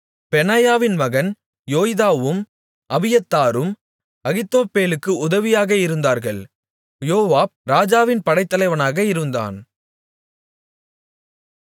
பெனாயாவின் மகன் யோய்தாவும் அபியத்தாரும் அகித்தோப்பேலுக்கு உதவியாக இருந்தார்கள் யோவாப் ராஜாவின் படைத்தலைவனாக இருந்தான்